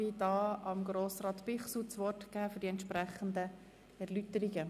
Ich erteile Grossrat Bichsel das Wort, um diesen Antrag zu erläutern.